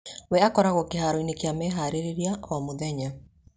We akoragwo kĩharo-inĩ kĩa meharĩrĩria o-mũthenya